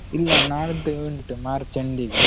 ಇಲ್ಲಾ ನಾಡ್ದು ಉಂಟು March end ಗೆ.